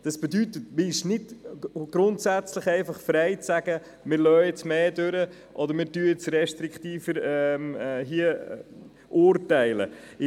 Das bedeutet, dass man nicht grundsätzlich frei ist, toleranter oder restriktiver zu urteilen.